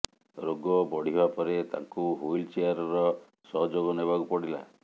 ରୋଗ ବଢ଼ିବା ପରେ ତାଙ୍କୁ ହୁଇଲ ଚେୟାରର ସହଯୋଗ ନେବାକୁ ପଡ଼ିଲା